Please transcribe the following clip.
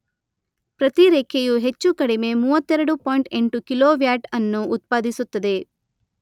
ಪ್ರತಿ ರೆಕ್ಕೆಯು ಹೆಚ್ಚು ಕಡಿಮೆ ಮೂವತ್ತೆರಡು ಪಾಯಿಂಟ್ ಎಂಟು ಕಿಲೋ ವ್ಯಾಟ್ ಅನ್ನು ಉತ್ಪಾದಿಸುತ್ತದೆ.